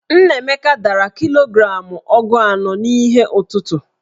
Nnaemeka dara kilogramụ ogu anọ n'ihe ọtụtụ̀.